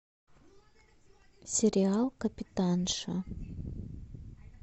сериал капитанша